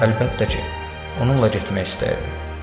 Əlbəttə ki, onunla getmək istəyirdim.